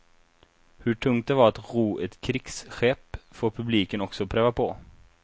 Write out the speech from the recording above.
Hur tungt det var att ro ett krigsskepp får publiken också pröva på.